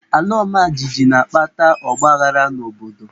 Alaọmajijiji na-akpata ọgbaaghara n'obodo.